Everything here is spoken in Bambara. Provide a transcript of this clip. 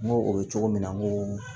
N ko o bɛ cogo min na n ko